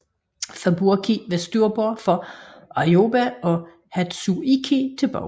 Fubuki var til styrbord for Aoba og Hatsuyuki til bagbord